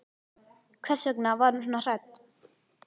Hvers vegna var hún svona hrædd?